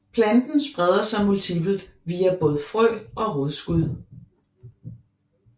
Planten spreder sig multipelt via både frø og rodskud